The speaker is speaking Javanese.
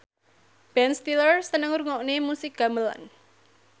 Ben Stiller seneng ngrungokne musik gamelan